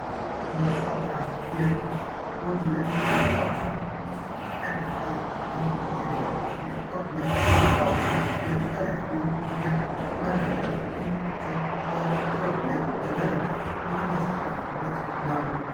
ማስታወቂያ፤ የቦርድ ላይ ማስታወቂያ፦ ከማስታወቂያ አይነቶች ውስጥ አንዱ ሲሆን የቦርድ ላይ ማስታወቂያ የተለያዩ የመረጃ ምንጮችን በቦርድ ላይ በመለጠፍ የምናስተላልፍበት ነው።